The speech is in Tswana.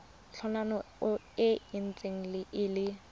tlhano e ntse e le